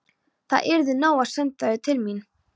Það yrði nóg að senda þau til mín.